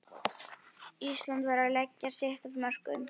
Ísland verður að leggja sitt af mörkum